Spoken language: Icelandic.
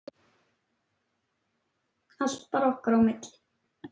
Allt bara okkar á milli.